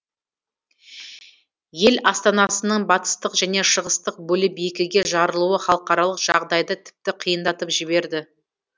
ел астанасының батыстық және шығыстық бөліп екіге жарылуы халықаралық жағдайды тіпті қиындатып жіберді